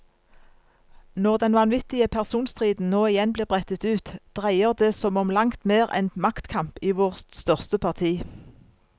Når den vanvittige personstriden nå igjen blir brettet ut, dreier det som om langt mer enn maktkamp i vårt største parti.